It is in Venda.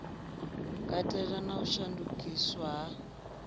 katela na u shandukiswa ha